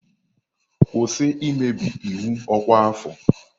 Kwụsị imebi iwu ọkwa afọ!